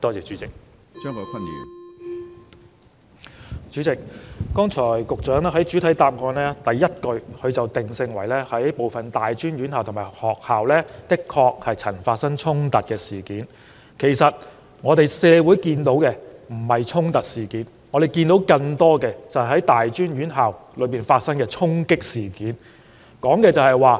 主席，局長剛才在主體答覆第一句指出，"部分大專院校及學校曾發生衝突事件"，事實上，我們看到並非發生"衝突"事件，而是在更多大專院校發生"衝擊"事件。